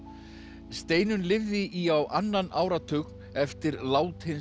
Steinunn lifði í á annan áratug eftir lát hins